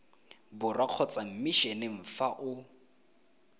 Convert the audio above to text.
borwa kgotsa mmishineng fa o